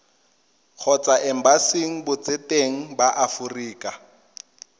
kgotsa embasing botseteng ba aforika